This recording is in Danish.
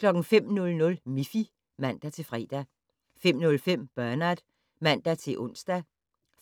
05:00: Miffy (man-fre) 05:05: Bernard (man-ons)